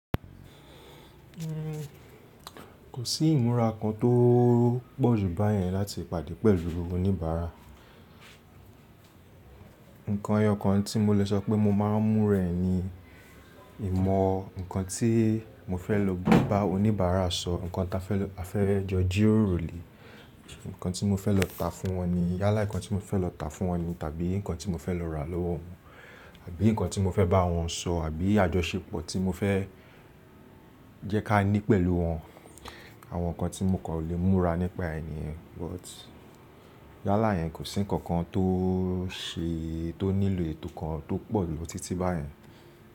Kò sí ìmúra kan tó pọ̀jù báyẹn láti pàdé pẹ̀lú oníbàárà. Ǹkan ẹyọ kan tí mo lè sọ pé mo máa ń mú rẹ̀ ni ìmọ̀ nǹkan tí mo fẹ́ lò bá oníbàárà sọ, ǹkan ta fẹ́ a fẹ́ jọ jí ròrò le, ǹkan tí mo fẹ́ lọ tá fún wọn ni, yálà nǹkan tí mo fẹ́ lọ tá fún wọn ni tàbí nǹkan tí mo fẹ́ lọ rà lọ́wọ́ wọn, àbí nǹkan tí mo fẹ́ bá wọn sọ àbí àjọṣepọ̀ tí mo fẹ́ jẹ́ ká ní pẹ̀lú wọn. Àwọn nǹkan tí mo kọ̀ lè múra nípa èhn niyen but yálà yẹn kò sí nǹkan kan tó ṣe tó nílò ètò kan tó pọ̀jù títí báyẹn.